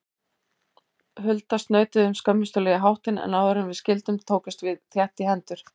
Hulda snautuðum skömmustuleg í háttinn, en áðuren við skildum tókumst við þétt í hendur.